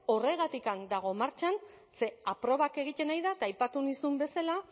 horregatik dago martxan ze probak egiten ari da eta aipatu nizun bezala